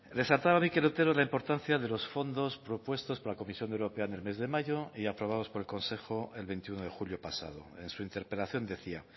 descataba mikel otero la importancia de los fondos propuestos por la comisión europea en el mes de mayo y aprobados por el consejo el veintiuno de julio pasado en su interpelación decía